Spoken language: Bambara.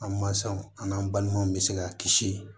An mansaw an n'an balimanw bɛ se ka kisi